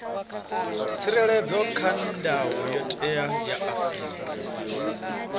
tsireledzwa kha ndayotewa ya afrika